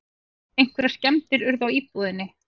Einhverjar skemmdir urðu á íbúðinni